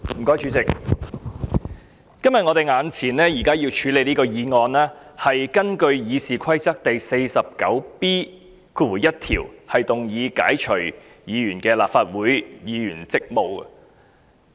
我們今天眼前要處理的議案，是根據《議事規則》第 49B1 條動議解除議員的立法會議員職務。